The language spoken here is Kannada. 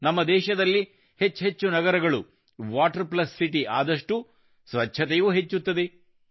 ನಮ್ಮ ದೇಶದಲ್ಲಿ ಹೆಚ್ಚೆಚ್ಚು ನಗರಗಳು ವಾಟರ್ ಪ್ಲಸ್ ಸಿಟಿ ಆದಷ್ಟೂ ಸ್ವಚ್ಛತೆಯೂ ಹೆಚ್ಚುತ್ತದೆ